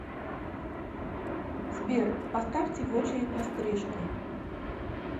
сбер поставьте в очередь на стрижку